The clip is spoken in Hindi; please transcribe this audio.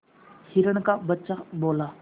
हिरण का बच्चा बोला